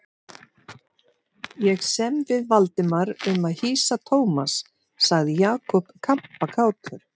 Ég sem við Valdimar um að hýsa Thomas sagði Jakob kampakátur.